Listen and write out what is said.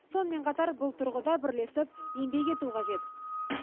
сонымен қатар бұл тұрғыда бірлесіп еңбек ету қажет